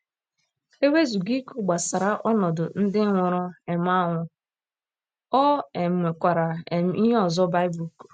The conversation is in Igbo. E wezụga ikwu gbasara ọnọdụ ndị nwụrụ um anwụ, o um nwekwara um ihe ọzọ Baịbụl kwuru.